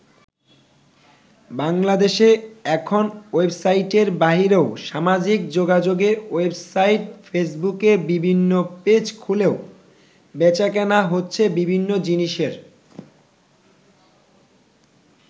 বাংলাদেশে এখন ওয়েবসাইটের বাইরেও সামাজিক যোগাযোগের ওয়েবসাইট ফেসবুকে বিভিন্ন পেজ খুলেও বেচাকেনা হচ্ছে বিভিন্ন জিনিসের।